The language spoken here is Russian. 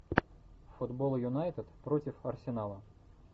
футбол юнайтед против арсенала